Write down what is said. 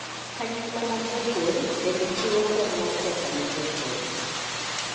Kanyakla mag jopur bende chiwo kony mar pesa ne jopur.